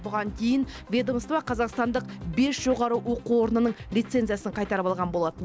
бұған дейін ведомство қазақстандық бес жоғары оқу орнының лицензиясын қайтарып алған болатын